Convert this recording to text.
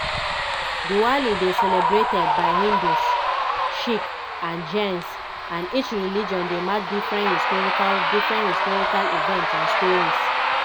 diwali dey celebrated by hindus sikhs and jains and each religion dey mark different historical different historical events and stories.